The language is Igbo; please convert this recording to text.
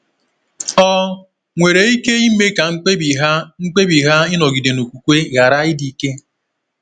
ọ nwere ike ime ka mkpebi ha mkpebi ha ịnọgide na okwukwe ghara ịdị ike?